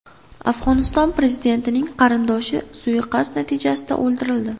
Afg‘oniston prezidentining qarindoshi suiqasd natijasida o‘ldirildi.